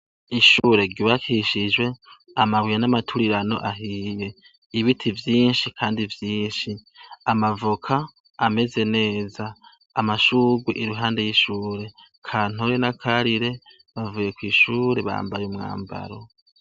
Ishure ryubakishijwe amabuye namaturirano ahiye, ibiti vyinshi kandi vyinshi, amavoka kandi ameze neza amashurwe iruhande y'ishure Kantore na Karire bamvuye kw'ishure bambaye umwambaro.